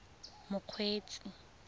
mokgweetsi